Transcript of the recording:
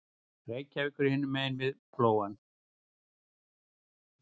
Reykjavíkur hinum megin við Flóann.